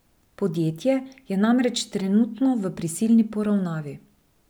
Podjetje je namreč trenutno v prisilni poravnavi.